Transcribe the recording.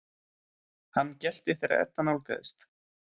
Hann gelti þegar Edda nálgaðist.